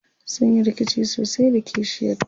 sunyi rikici sosai da kishiyar ta